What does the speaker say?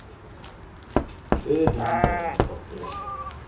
tse ding tsa dintho tseo